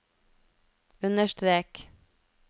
understrek